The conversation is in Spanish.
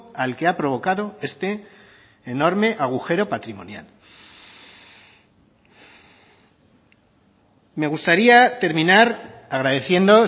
al que ha provocado este enorme agujero patrimonial me gustaría terminar agradeciendo